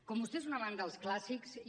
com vostè és un amant dels clàssics jo